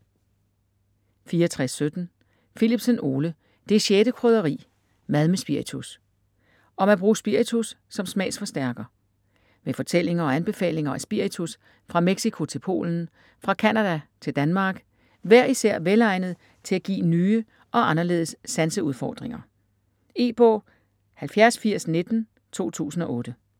64.17 Philipsen, Ole: Det 6. krydderi: mad med spiritus Om at bruge spiritus som smagsforstærker. Med fortællinger og anbefalinger af spiritus fra Mexico til Polen, fra Canada til Danmark, hver især velegnet til at give nye og anderledes sanseudfordringer. E-bog 708019 2008.